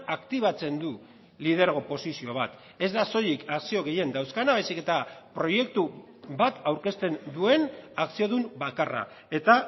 aktibatzen du lidergo posizio bat ez da soilik akzio gehien dauzkana baizik eta proiektu bat aurkezten duen akziodun bakarra eta